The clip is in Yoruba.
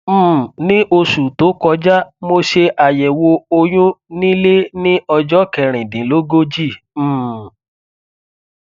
um ní oṣù tó kọjá mo ṣe àyẹwò oyún nílé ní ọjọ kẹrìndínlógójì um